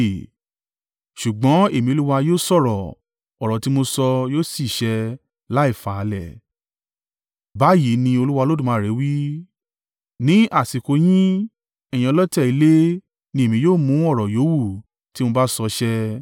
Ṣùgbọ́n, Èmi Olúwa yóò sọ̀rọ̀, ọ̀rọ̀ tí mo sọ yóò sì ṣẹ láì falẹ̀. Báyìí ni Olúwa Olódùmarè wí, ní àsìkò yín, ẹ̀yin ọlọ̀tẹ̀ ilé ni Èmi yóò mú ọ̀rọ̀ yówù tí mo bá sọ ṣẹ.’ ”